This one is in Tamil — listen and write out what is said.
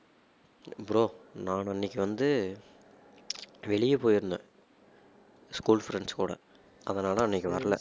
bro நான் அன்னைக்கு வந்து வெளியே போயிருந்தேன் school friends கூட அதனால அன்னைக்கு வரல